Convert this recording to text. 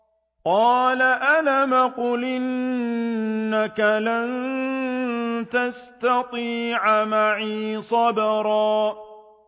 قَالَ أَلَمْ أَقُلْ إِنَّكَ لَن تَسْتَطِيعَ مَعِيَ صَبْرًا